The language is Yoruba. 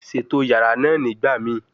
Ṣeto yara naa nigbamii